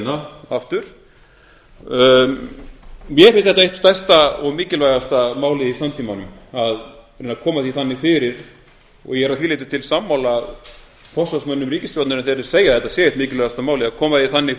þá leiðina aftur mér finnst þetta eitt stærsta og mikilvægasta málið i samtímanum að reyna að koma því þannig fyrir og ég er að því leyti til sammála forsvarsmönnum ríkisstjórnarinnar þegar þeir segja að þetta sé eitt mikilvægasta málið að koma því þannig